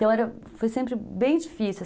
Então, era, foi sempre bem difícil.